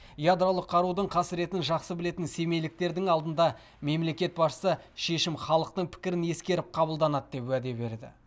ядролық қарудың қасіретін жақсы білетін семейліктердің алдында мемлекет басшысы шешім халықтың пікірін ескеріп қабылданады деп уәде берді